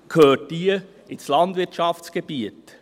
Deshalb gehört sie ins Landwirtschaftsgebiet.